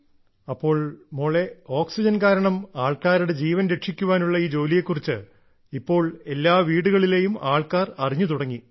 ഓ അപ്പോൾ മോളെ ഓക്സിജൻ കാരണം ആൾക്കാരുടെ ജീവൻ രക്ഷിക്കാനുള്ള ഈ ജോലിയെക്കുറിച്ച് ഇപ്പോ എല്ലാ വീടുകളുടെയും ആൾക്കാർ അറിഞ്ഞു തുടങ്ങി